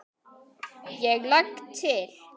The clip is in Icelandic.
JÓN: Ég legg til.